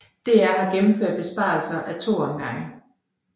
DR har gennemført besparelser ad to omgange